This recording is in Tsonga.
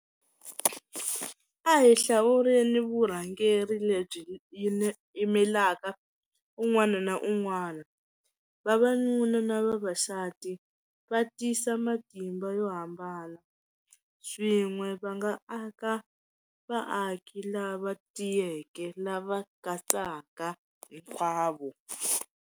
A hi hlawuleni vurhangeri lebyi yimelaka un'wana na un'wana vavanuna na vavasati va tisa matimba yo hambana swin'we va nga aka vaaki lava tiyeke lava katsaka hinkwavo.